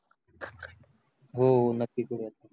हो नक्की करू यात